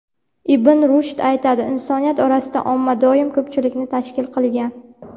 Ibn Rushd aytadi: "Insoniyat orasida omma doim ko‘pchilikni tashkil qilgan".